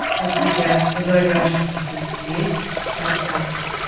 у тебя в загашнике есть стартап